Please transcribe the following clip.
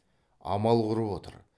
амал құрып отыр